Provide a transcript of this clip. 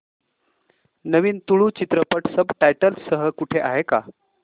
नवीन तुळू चित्रपट subtitles सह कुठे आहे का